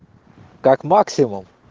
как максимум